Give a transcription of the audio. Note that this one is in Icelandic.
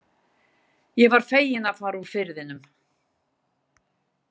Ég var feginn að fara úr firðinum.